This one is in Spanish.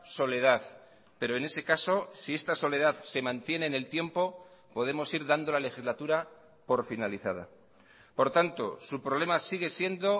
soledad pero en ese caso si esta soledad se mantiene en el tiempo podemos ir dando la legislatura por finalizada por tanto su problema sigue siendo